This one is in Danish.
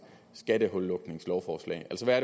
skattehullukningslovforslag altså hvad